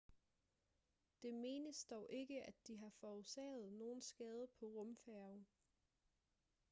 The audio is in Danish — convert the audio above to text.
det menes dog ikke at de har forårsaget nogen skade på rumfærgen